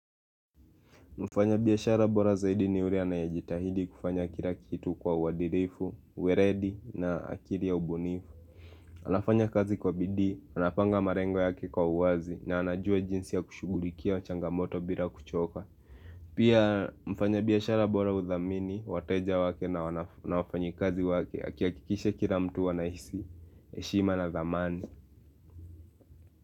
Mfanya biashara bora zaidi ni ule anayejitahidi kufanya kila kitu kwa uadilifu, weledi na akili ya ubunifu anafanya kazi kwa bidii, anapanga malengo yake kwa uwazi na anajua jinsi ya kushughulikia changamoto bila kuchoka Pia mfanya biashara bora hudhamini, wateja wake na wafanyikazi wake, akiakikisha kira mtu anahisi, heshima na dhamani.